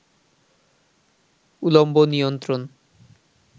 উলম্ব নিয়ন্ত্রণ